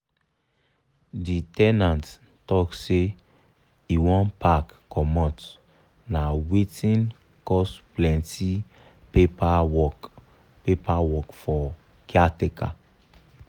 the ten ant talk say e wan pack comot na wetin cos plenty paper work paper work for caretaker.